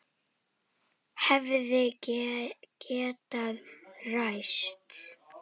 Hefði getað ræst.